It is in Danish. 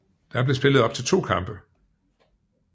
Der blev spillet op til to kampe